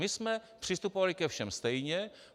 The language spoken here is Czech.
My jsme přistupovali ke všem stejně.